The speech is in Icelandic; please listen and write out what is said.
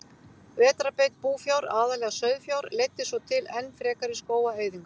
Vetrarbeit búfjár, aðallega sauðfjár, leiddi svo til enn frekari skógaeyðingar.